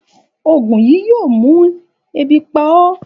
Ògùn yìí yóò mú ebi pa ó